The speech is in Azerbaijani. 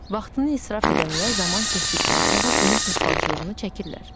Vaxtını israf edənlər zaman keçdikdən sonra bunun peşmançılığını çəkirlər.